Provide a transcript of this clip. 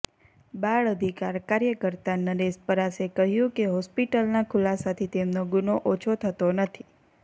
બાળ અધિકાર કાર્યકર્તા નરેશ પરાસે કહ્યું કે હોસ્પિટલના ખુલાસાથી તેમનો ગુનો ઓછો થતો નથી